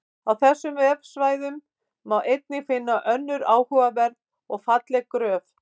Á þessum vefsvæðum má einnig finna önnur áhugaverð og falleg gröf.